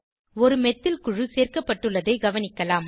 ஒரு மெத்தில் குழு சேர்க்கப்பட்டுள்ளதை கவனிக்கலாம்